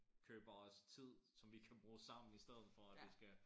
Køber os tid som vi kan bruge sammen i stedet for at det skal